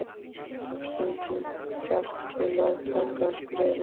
Það þarf stundum kjark til að taka skrefið.